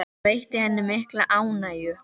Það veitti henni mikla ánægju.